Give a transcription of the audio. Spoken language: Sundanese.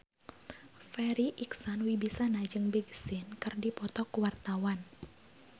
Farri Icksan Wibisana jeung Big Sean keur dipoto ku wartawan